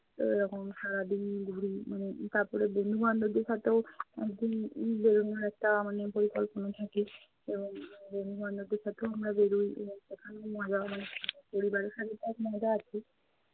তো এরকম সারাদিন ঘুরি। মানে তারপরে বন্ধু-বান্ধবদের সাথেও এক দিন উম বের হওয়ার একটা মানে পরিকল্পনা থাকে এবং বন্ধু-বান্ধবদের সাথেও আমরা বের হই এবং সেখানেও মজা হয় মানে পরিবারের সাথে তো এক মজা আছে,